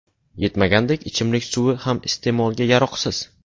Yetmagandek, ichimlik suvi ham iste’molga yaroqsiz.